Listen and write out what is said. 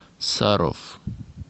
саров